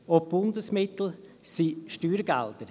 Auch die Bundesmittel sind Steuergelder.